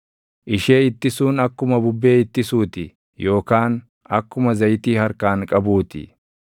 ishee ittisuun akkuma bubbee ittisuu ti yookaan akkuma zayitii harkaan qabuu ti.